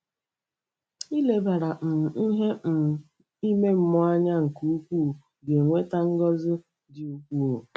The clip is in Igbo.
Ilebara um ihe um ime mmụọ anya nke ukwuu ga-eweta ngọzi dị ukwuu.